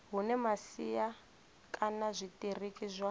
hune masia kana zwitiriki zwa